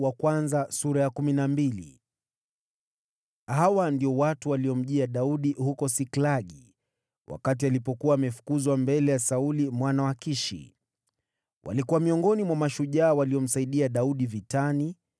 Hawa ndio watu waliomjia Daudi huko Siklagi, wakati alikuwa amefukuzwa mbele ya Sauli mwana wa Kishi (walikuwa miongoni mwa mashujaa waliomsaidia Daudi vitani,